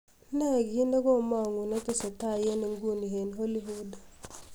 ne gii negomong'u netesetai en inguni en hollywood